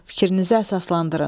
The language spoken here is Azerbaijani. Fikrinizi əsaslandırın.